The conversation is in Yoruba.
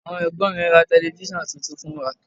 Àwọn Ẹ̀gbọ́n mi ra Tẹlifísàn tuntun fún wa